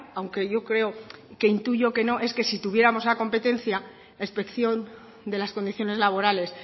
aunque yo creo que intuyo que no es que sí tuviéramos la competencia la inspección de las condiciones laborales